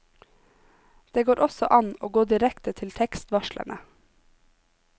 Det går også an å gå direkte til tekstvarslene.